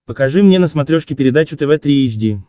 покажи мне на смотрешке передачу тв три эйч ди